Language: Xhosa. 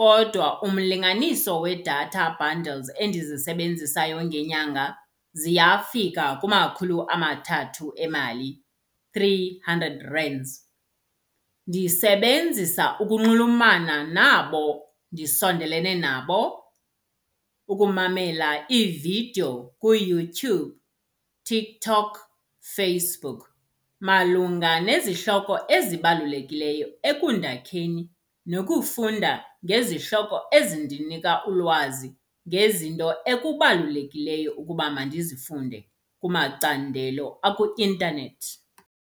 kodwa umlinganiso we-data bundles endizisebenzisayo ngenyanga ziyafika kumakhulu amathathu emali, three hundred Rands. Ndisebenzisa ukunxulumana nabo ndisondelene nabo. Ukumamela iividiyo kuYouTube, TikTok, Facebook malunga nezihloko ezibalulekileyo ekundakheni nokufunda ngezihloko ezindinika ulwazi ngezinto ekubalulekileyo ukuba mandizifunde kumacandelo akuintanethi.